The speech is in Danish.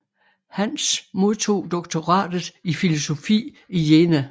Hans modtog doktoratet i filosofi i Jena